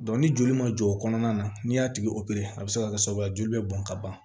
ni joli ma jɔ o kɔnɔna na n'i y'a tigi opere a bɛ se ka kɛ sababu ye joli bɛ bɔn ka ban